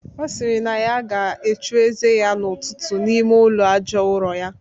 Ọ sịrị na ya ga-achụ ize ya n'ụtụtụ n'ime ụlọ aja ụrọ ya